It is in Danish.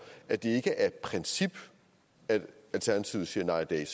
at det ikke er af princip at alternativet siger nej i dag